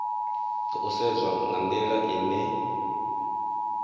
khou sedzwa nga ndila ine